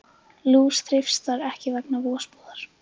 Lús þreifst þar ekki vegna vosbúðar.